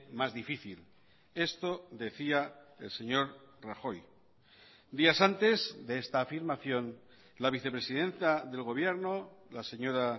más difícil esto decía el señor rajoy días antes de esta afirmación la vicepresidenta del gobierno la señora